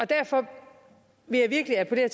derfor vil jeg virkelig appellere